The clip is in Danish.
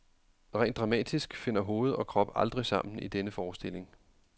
Rent dramatisk finder hoved og krop aldrig sammen i denne forestilling.